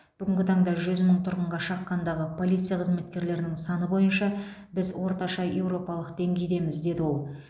бүгінгі таңда жүз мың тұрғынға шаққандағы полиция қызметкерлерінің саны бойынша біз орташа еуропалық деңгейдеміз деді ол